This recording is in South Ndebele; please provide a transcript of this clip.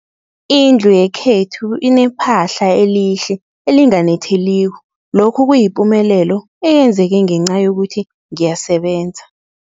Indlu yakwethu inephahla elihle, elinganetheliko, lokhu kuyipumelelo eyenzeke ngenca yokuthi ngiyasebenza.